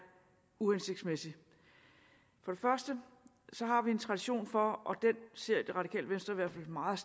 uhensigtsmæssig først har vi en tradition for og den ser det radikale venstre i hvert fald meget